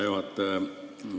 Hea juhataja!